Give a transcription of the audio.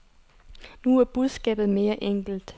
Nu er budskabet mere enkelt.